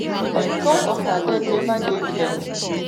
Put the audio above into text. di cause of her death neva dey clear.